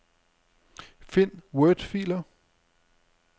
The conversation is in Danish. Find wordfiler.